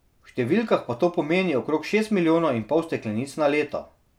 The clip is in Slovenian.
V številkah pa to pomeni okrog šest milijonov in pol steklenic na leto.